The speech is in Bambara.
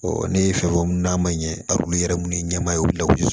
ne ye fɛn fɔ munnu n'a ma ɲɛ a bolo yɛrɛ munnu ye ɲama ye u bi la